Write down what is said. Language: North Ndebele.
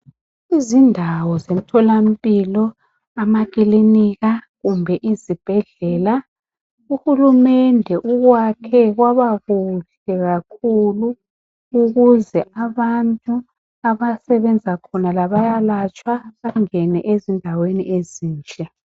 Izindawo zomtholampilo emakilinika kumbe ezibhedlela uhulumende ukwakhe kwaba kuhle kahle ukuze abantu abasebenza khona bayalatshwa bangene ezindaweni ezinhle.